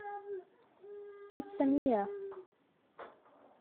пицца мия